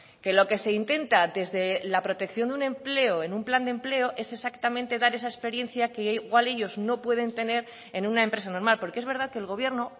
que lo que se intenta desde la protección de un empleo en un plan de empleo es exactamente dar esa experiencia que igual ellos no pueden tener en una empresa normal porque es verdad que el gobierno